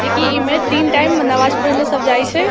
जे की इ में तीन टाइम में नमाज पढ़ेले सब जाय छै।